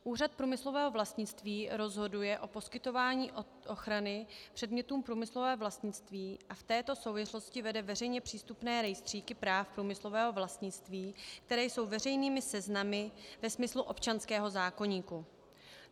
Úřad průmyslového vlastnictví rozhoduje o poskytování ochrany předmětům průmyslového vlastnictví a v této souvislosti vede veřejně přístupné rejstříky práv průmyslového vlastnictví, které jsou veřejnými seznamy ve smyslu občanského zákoníku.